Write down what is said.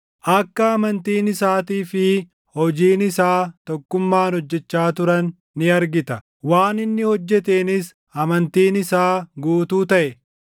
Akka amantiin isaatii fi hojiin isaa tokkummaan hojjechaa turan ni argita; waan inni hojjeteenis amantiin isaa guutuu taʼe.